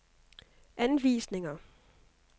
anvisninger